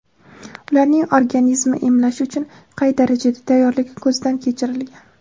ularning organizmi emlash uchun qay darajada tayyorligi ko‘zdan kechirilgan.